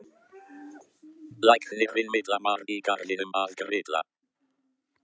Læknirinn Milla var í garðinum að grilla.